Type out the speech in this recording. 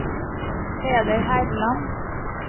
Peder Herland